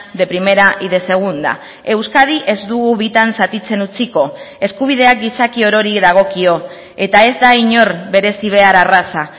de primera y de segunda euskadi ez dugu bitan zatitzen utziko eskubideak gizaki orori dagokio eta ez da inor berezi behar arraza